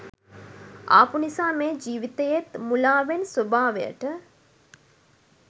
ආපු නිසා මේ ජීවිතයේත් මුලාවෙන ස්වභාවයට